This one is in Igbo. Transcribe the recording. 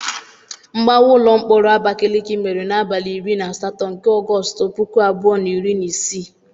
Mgbawa ụlọ mkpọrọ Abakaleke mere n'abalị iri na asatọ nke Ọgọstụ, puku abụọ na iri na isii.